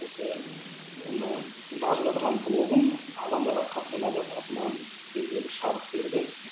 осы мына жазып жатырған блогым адамдарға қатты ұнап маған белгілі бір шабыт берді